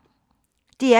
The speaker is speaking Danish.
DR P2